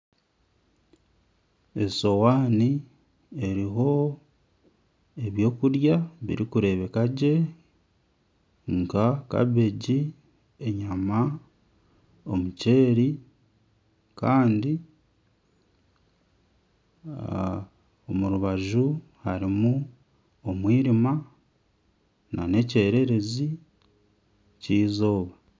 Eshohani eriho eby'okurya birikureebeka gye, nka kabeegi, enyama, omuceeri kandi omu rubaju harimu omwirima nana ekyererezi ky'eizooba